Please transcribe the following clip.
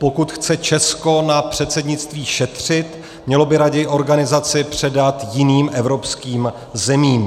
Pokud chce Česko na předsednictví šetřit, mělo by raději organizaci předat jiným evropským zemím.